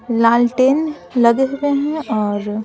लाल टेन लगे हुए हैं और--